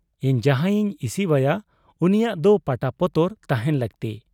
ᱤᱧ ᱡᱟᱦᱟᱸᱭᱤᱧ ᱤᱥᱤᱣᱟᱭᱟ ᱩᱱᱤᱭᱟᱜ ᱫᱚ ᱯᱟᱴᱟ ᱯᱚᱛᱚᱨ ᱛᱟᱦᱮᱸᱱ ᱞᱟᱹᱠᱛᱤ ᱾